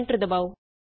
enter ਦਬਾਉ